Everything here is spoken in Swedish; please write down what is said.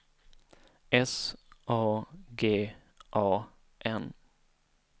S A G A N